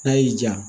N'a y'i ja